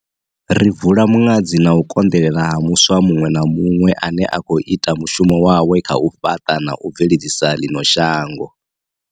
Ri bvula muṅadzi na u konḓelela ha muswa muṅwe na muṅwe ane a khou ita mushumo wawe kha u fhaṱa na u bveledzisa ḽino shango.